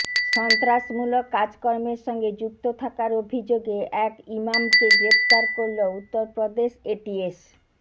সন্ত্রাসমূলক কাজকর্মের সঙ্গে যুক্ত থাকার অভিযোগে এক ইমামকে গ্রেফতার করল উত্তরপ্রদেশ এটিএস